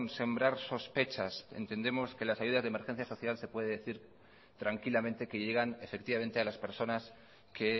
sembrar sospechas entendemos que las ayudas de emergencia social se puede decir tranquilamente que llegan efectivamente a las personas que